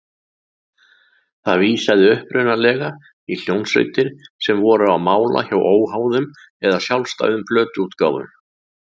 Það vísaði upprunalega í hljómsveitir sem voru á mála hjá óháðum eða sjálfstæðum plötuútgáfum.